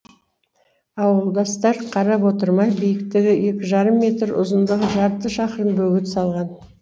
ауылдастар қарап отырмай биіктігі екі жарым метр ұзындығы жарты шақырым бөгет салған